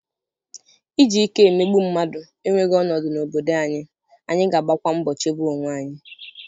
iji ike emegbu mmadụ enweghị ọnọdụ n'obodo anyị, anyị ga-agbakwa mbọ chebe onwe anyị.